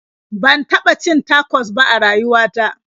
Ban taɓa cin tacos ba a rayuwa ta.